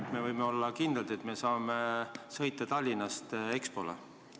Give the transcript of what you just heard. Kas me võime olla kindlad, et saame Tallinnast otse Expole sõita?